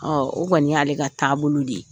o kɔni y'ale ka taabolo de ye